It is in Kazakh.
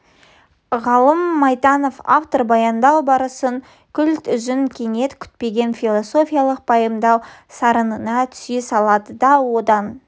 ғалым майтанов автор баяндау барысын күлт үзіп кенет күтпеген философиялық пайымдау сарынына түсе салады да одан